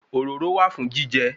Òróró wà fún jíjẹ